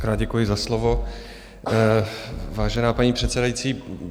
Mockrát děkuji za slovo, vážená paní předsedající.